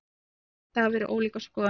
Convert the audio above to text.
Um þetta hafa verið ólíkar skoðanir.